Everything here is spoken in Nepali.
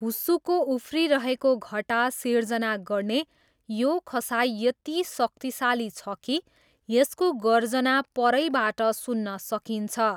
हुस्सुको उफ्रिरहेको घटा सिर्जना गर्ने यो खसाइ यति शक्तिशाली छ कि यसको गर्जना परैबाट सुन्न सकिन्छ।